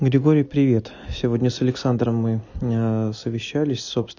григорий привет сегодня с александром мой совещались